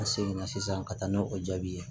An seginna sisan ka taa n'o o jaabi ye